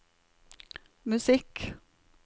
musikk